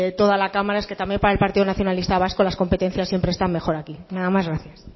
toda la cámara es que también para el partido nacionalista vasco las competencias siempre están mejor aquí nada más gracias